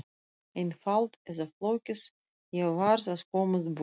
Einfalt eða flókið, ég varð að komast burt.